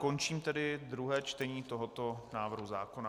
Končím tedy druhé čtení tohoto návrhu zákona.